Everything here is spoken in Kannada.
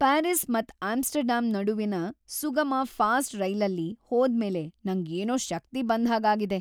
ಪ್ಯಾರಿಸ್ ಮತ್ ಆಮ್ಸ್ಟರ್ಡ್ಯಾಮ್ ನಡುವಿನ್ ಸುಗಮ, ಫಾಸ್ಟ್ ರೈಲ್ಲಲ್ಲಿ ಹೋದ್ ಮೇಲೆ ನಂಗ್ ಏನೋ ಶಕ್ತಿ ಬಂದ್ ಹಾಗ್ ಆಗಿದೆ.